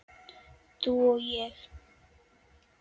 Þú og ég.